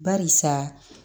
Barisa